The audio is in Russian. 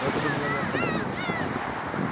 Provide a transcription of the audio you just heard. ну это бы меня не остановило